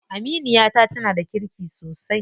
Aminiyata tana da kirki sosai.